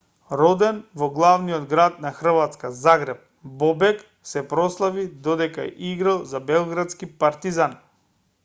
роден во главниот град на хрватска загреб бобек се прославил додека играл за белградски партизан